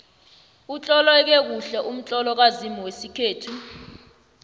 utloleke kuhle umtlolo kazimu wesikhethu